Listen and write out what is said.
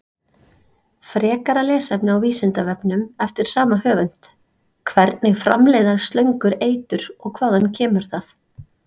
Frekara lesefni á Vísindavefnum eftir sama höfund: Hvernig framleiða slöngur eitur og hvaðan kemur það?